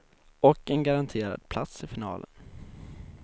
Och en garanterad plats i finalen.